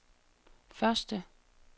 første